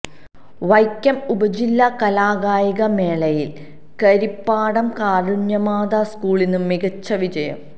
വൈക്കം ഉപജില്ലാ കലാകായിക മേളയില് കരിപ്പാടം കാരുണ്യമാതാ സ്കൂളിന് മികച്ച വിജയം